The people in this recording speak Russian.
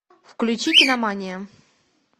включи киномания